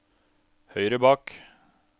høyre bak